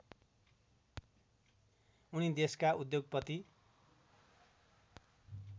उनी देशका उद्योगपति